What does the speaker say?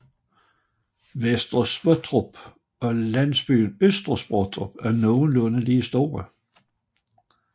Vester Sottrup og nabolandsbyen Øster Sottrup var nogenlunde lige store